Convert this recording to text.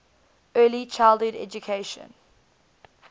early childhood education